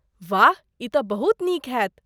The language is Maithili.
वाह, ई तँ बहुत नीक हैत!